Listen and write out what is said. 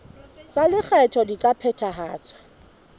tsa lekgetho di ka phethahatswa